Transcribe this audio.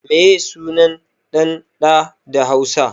Meye sunan ɗan ɗa da hausa?